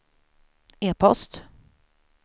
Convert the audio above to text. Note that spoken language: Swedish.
e-post